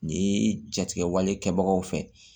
Ni jatigɛwale kɛbagaw fɛ